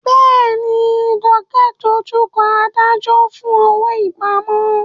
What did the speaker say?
Bẹ́ẹ̀ni, Jumoke ń dojú kọ adájọ́ fún owó ìpamọ́.